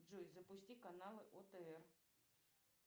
джой запусти каналы отр